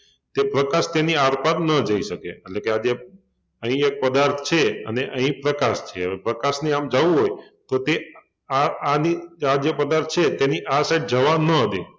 કે પ્રકાશ તેની આરપાર ન જઈ શકે એટલે કે આ જે અહિયા એક પદાર્થ છે અને અહિં પ્રકાશ છે હવે પ્રકાશને આમ જવું હોય તો તે આ આની આ જે પદાર્થ છે તેની આ side જવા ન દે